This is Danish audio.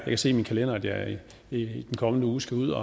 kan se i min kalender at jeg i den kommende uge skal ud